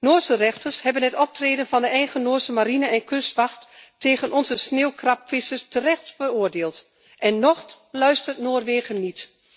Noorse rechters hebben het optreden van de eigen Noorse marine en kustwacht tegen onze sneeuwkrabvissers terecht veroordeeld en nog luistert Noorwegen niet.